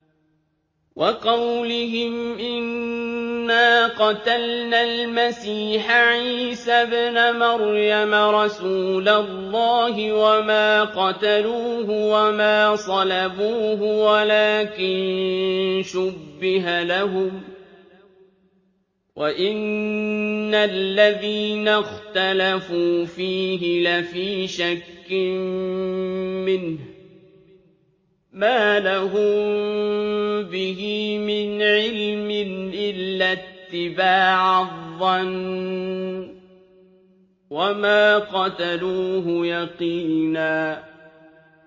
وَقَوْلِهِمْ إِنَّا قَتَلْنَا الْمَسِيحَ عِيسَى ابْنَ مَرْيَمَ رَسُولَ اللَّهِ وَمَا قَتَلُوهُ وَمَا صَلَبُوهُ وَلَٰكِن شُبِّهَ لَهُمْ ۚ وَإِنَّ الَّذِينَ اخْتَلَفُوا فِيهِ لَفِي شَكٍّ مِّنْهُ ۚ مَا لَهُم بِهِ مِنْ عِلْمٍ إِلَّا اتِّبَاعَ الظَّنِّ ۚ وَمَا قَتَلُوهُ يَقِينًا